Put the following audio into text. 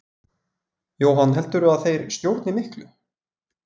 Jóhann: Heldurðu að þeir stjórni miklu?